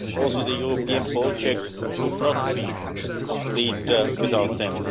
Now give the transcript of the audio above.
Also, the European project would not be complete without them.